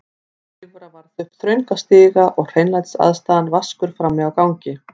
Klifra varð upp þrönga stiga og hreinlætisaðstaðan vaskur frammi á gangi.